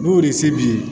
N'o de ye se b'i ye